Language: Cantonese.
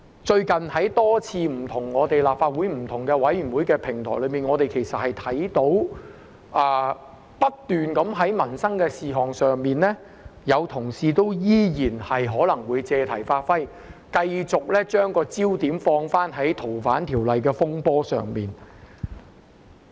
最近在多個立法會不同委員會上，我們也看到有同事在討論民生事項時仍然不斷借題發揮，繼續把焦點放在《逃犯條例》的風波上。